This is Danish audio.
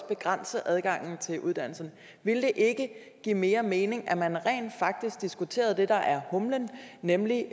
begrænse adgangen til uddannelse ville det ikke give mere mening at man rent faktisk diskuterede det der er humlen nemlig